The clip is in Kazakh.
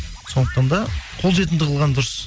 сондықтан да қолжетімді қылған дұрыс